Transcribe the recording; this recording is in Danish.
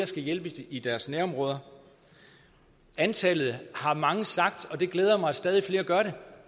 skal hjælpes i deres nærområde antallet har mange sagt og det glæder mig at stadig flere gør